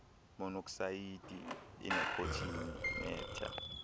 monoksayidi inikhothini netha